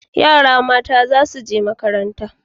Yara mata za su je makaranta